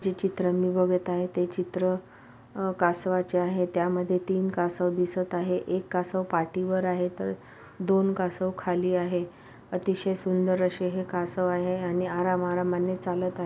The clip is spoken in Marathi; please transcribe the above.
जे चित्र मी बगत आहे ते चित्र अह कासवाचे आहे त्या मध्ये तीन कासव दिसत आहे एक कासव पाठीवर आहे तर दोन कासव खाली आहे अतिशय सुंदर असे हे कासव आहे आणि आराम आरामाने चालत आ --